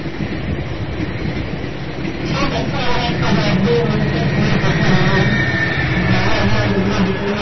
ঠিক আছে আমরা আজকে job নিয়ে অনেকটা সময় কথা বললাম। ভালো লাগলো অনেক গুলো বিষয় নিয়ে